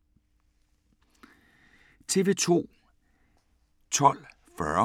TV 2